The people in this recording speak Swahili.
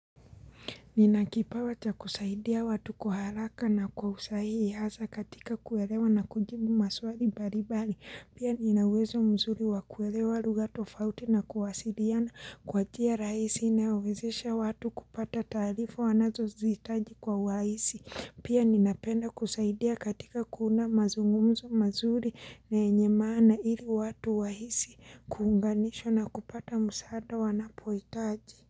Ninakipawa cha kusaidia watu kwa haraka na kwa usahihi hasa katika kuelewa na kujibu maswali mbalimbali. Pia ninauwezo mzuri wa kuelewa lugha tofauti na kuwasiliana kwa njia rahisi inayowezesha watu kupata taarifa wanazozihitaji kwa urahisi. Pia ninapenda kusaidia katika kuunda mazungumzo mazuri na yenye maana ili watu wahisi. Kuunganishwa na kupata msaada wanapohitaji.